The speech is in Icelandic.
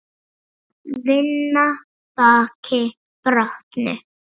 Vinna baki brotnu.